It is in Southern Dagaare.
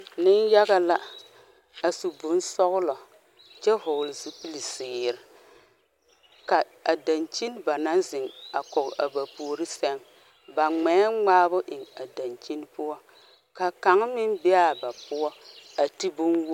Ni yaga la. A su bon sɔglɔ kyɛ vogle zupul ziire. Ka a dankyen ba na zeŋ a kɔŋe a ba poore seŋ ba ŋmɛ ŋmaabo eŋ a dankyen poʊ. Ka kang meŋ be a ba poʊ a te bon wog